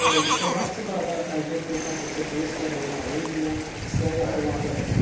Biz istehlakçı burada əldə etdiyi kassa çekini istəyir onun ailə üzvünə, istəyir yaxınlarına verə.